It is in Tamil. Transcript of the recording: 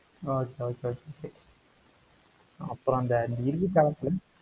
அப்புறம் அந்த